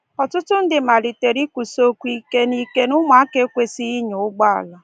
Ọtụtụ ndị malitere ikwusi okwu ike na ike na ụmụaka ekwesịghị ịnya ụgbọelu.